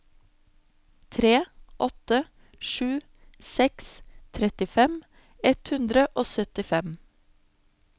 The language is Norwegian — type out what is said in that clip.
tre åtte sju seks trettifem ett hundre og syttifem